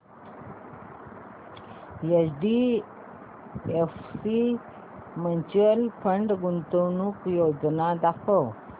HDFC mutual fund गुंतवणूक योजना दाखव